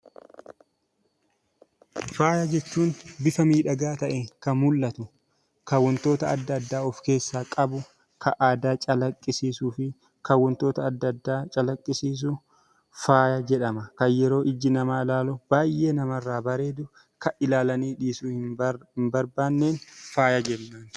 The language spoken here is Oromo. Faaya jechuun bifa miidhagaa ta'een kan mul'atu, kan wantoota adda addaa of keessaa qabu, kan aadaa calaqqisiisuu fi kan wantoota adda addaa calaqqisiisu faaya jedhama. Kan yeroo iji namaa ilaalu baay'ee namarraa bareedu, kan ilaalanii dhiisuu hin barbaanne faaya jennaan.